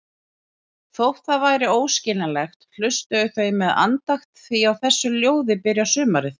Þótt það væri óskiljanlegt, hlustuðu þau með andakt því á þessu ljóði byrjar sumarið.